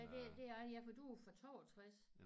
Ja det det er der ja for du er jo fra 62